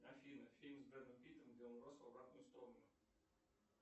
афина фильм с бредом питтом где он рос в обратную сторону